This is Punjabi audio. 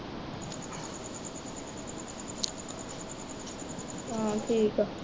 ਹਾਂ ਠੀਕ ਹੈ,